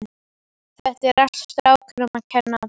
Þetta er allt strákunum að kenna.